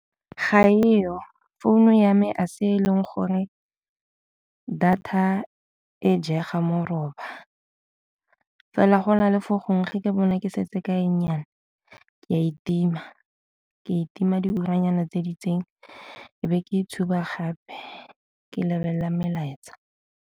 Ga eo, phone-u ya me a se e leng gore data e jega moroba, fela go na le fo gongwe fa ke bonwa ke setse ka e nnyane ke a e tima, ke e tima diuranyana tse di itseng e be ke ntshuba gape ke lebelela melaetsa.